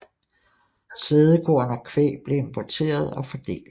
Sædekorn og kvæg blev importeret og fordelt